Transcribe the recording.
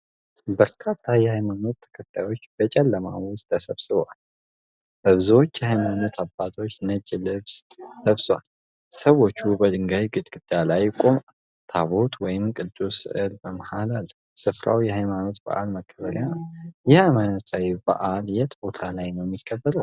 በርካታ የሃይማኖት ተከታዮች በጨለማ ውስጥ ተሰብስበዋል። ብዙዎቹ የሃይማኖት አባቶች ነጭ ልብስ ለብሰዋል። ሰዎች በድንጋይ ግድግዳ ላይ ቆመዋል። ታቦት ወይም ቅዱስ ሥዕል በመሃል አለ። ሥፍራው የሃይማኖታዊ በዓል መከበሪያ ነው። ይህ ሃይማኖታዊ በዓል የት ቦታ ላይ ነው የሚከበረው?